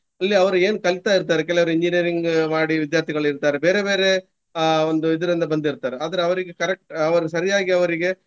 ಇಲ್ಲಿ ಅವರು ಏನು ಕಲಿತಾ ಇರ್ತಾರೆ ಕೆಲವರು engineering ಮಾಡಿ ವಿದ್ಯಾರ್ಥಿಗಳು ಇರ್ತಾರೆ. ಬೇರೆ ಬೇರೆ ಅಹ್ ಒಂದು ಇದ್ರಿಂದ ಬಂದಿರ್ತಾರೆ. ಆದ್ರೆ ಅವರಿಗೆ correct ಅವರು ಸರಿಯಾಗಿ ಅವರಿಗೆ.